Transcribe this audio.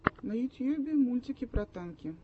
на ютьюбе мультики про танки